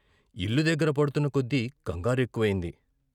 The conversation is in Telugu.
ఇల్లు దగ్గర పడు తున్న కొద్దీ కంగారెక్కువయింది.